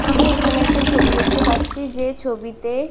আমি এখানে একটা ছবি দেখতে পাচ্ছি যে ছবিতে--